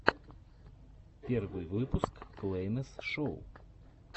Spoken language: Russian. первый выпуск клэйнес шоу